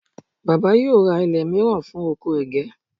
baba yíò ra ilé miran fún ọkọ ẹgẹ